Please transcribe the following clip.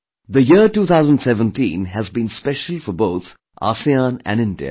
The year 2017 has been special for both ASEAN and India